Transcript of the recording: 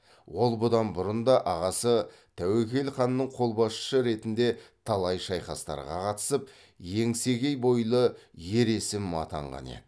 ол бұдан бұрын да ағасы тәуекел ханның қолбасшысы ретінде талай шайқастарға катысып еңсегей бойлы ер есім атанған еді